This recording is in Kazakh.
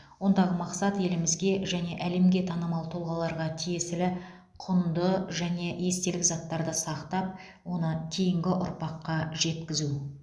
ондағы мақсат елімізге және әлемге танымал тұлғаларға тиесілі құнды және естелік заттарды сақтап оны кейінгі ұрпаққа жеткізу